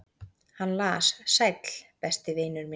"""Hann las: Sæll, besti vinur minn."""